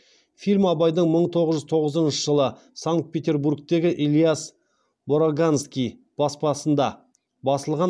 фильм абайдың мың тоғыз жүз тоғызыншы жылы санкт петербургтегі ильяс бораганский баспасында басылған